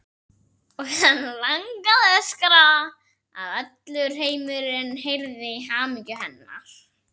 Og hana langaði að öskra svo að allur heimurinn heyrði í hamingju hennar.